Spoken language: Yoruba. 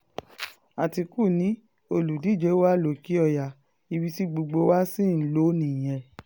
àtìkù ni olùdíje wa lòkè-ọ̀yà ibi tí gbogbo wa sì ń lò nìyẹn